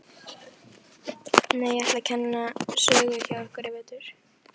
Nei, ég ætla að kenna sögu hjá ykkur í vetur.